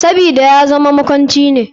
Sabida yazama makwanci ne.